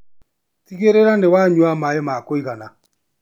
Tigĩrĩra nĩwanyua maĩ ma kũigana